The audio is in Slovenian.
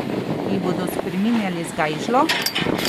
Jih bodo spreminjali z gajžlo?